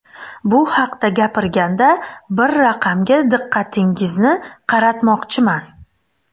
Bu haqda gapirganda, bir raqamga diqqatingizni qaratmoqchiman.